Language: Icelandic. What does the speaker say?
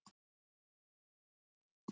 KR á í virkilegum vandræðum